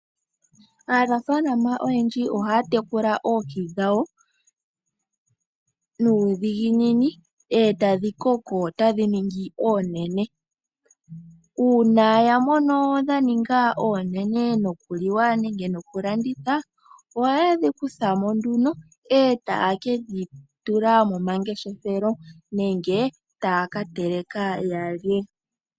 Aanafalama oyendji ohaya tekula oohi dhawo nuudhiginini e tadhi koko tadhi ningi oonene. Uuna ya mono dha ninga oonene nokuliwa nenge nokulanditha ohaye dhi kutha mo nduno e taye ke dhi tula momangeshefelo nenge taya ka teleka ya lye.